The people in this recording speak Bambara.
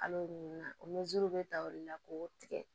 An b'o ɲini na o bɛ ta o de la k'o tigɛ